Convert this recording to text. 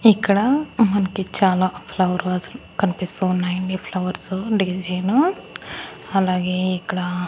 ఇక్కడ మనకి చాలా ఫ్లవర్ వాసులు కనిపిస్తూ ఉన్నాయండి ఫ్లవర్సు డీల్ చేయను అలాగే ఇక్కడ--